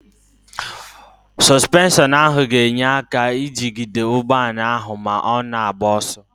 Sọsụpenshọnụ ahụ ga-enye aka ijigide ụgbọala ahụ ma ọ na-agba ọsọ.